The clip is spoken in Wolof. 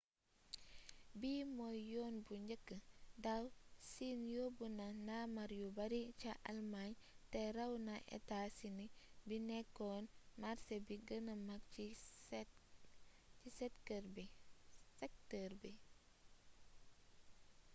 bii mooy yoon bu njëkk daaw siin yobbu na ndaamaar yu bari ca almaañ te ràw na etaa sini bi nekkoon màrsé bi gëna mag ci sektër bi